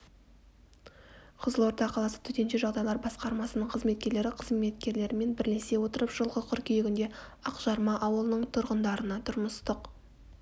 қызылорда қаласы төтенше жағдайлар басқармасының қызметкерлері қызметкерлерімен бірлесе отырып жылғы қыркүйегінде ақжарма ауылының тұрғындарына тұрмыстық